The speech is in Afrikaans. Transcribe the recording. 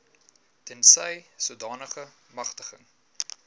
tensy sodanige magtiging